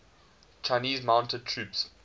chinese mounted troops